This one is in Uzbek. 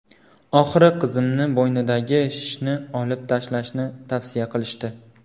Oxiri qizimni bo‘ynidagi shishni olib tashlashni tavsiya qilishdi.